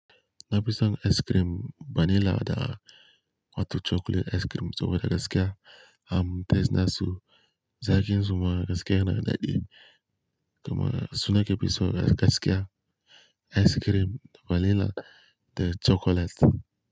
Na fi son ice cream vanilla da wato chocolate ice cream saboda gaskiya am tatsina su. Zaki zuma gaskiya na da daɗi, kuma suna ke fiso gaskiya ice cream vanilla da chocolate.